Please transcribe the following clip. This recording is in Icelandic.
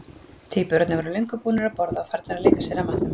Tvíburarnir voru löngu búnir að borða og farnir að leika sér að matnum.